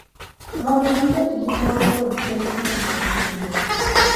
Mondo gibed gi mor kod pek ma ne gin-go.